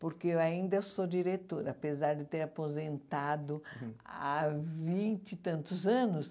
Porque eu ainda sou diretora, apesar de ter aposentado há vinte e tantos anos.